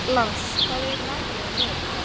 Lars, hvað er í matinn á miðvikudaginn?